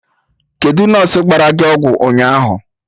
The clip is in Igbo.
Kedụ nọsụ gbara gị ọgwụ ụnyaahụ?